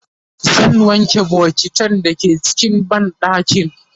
zan wanke bokitan da ke cikin banɗakin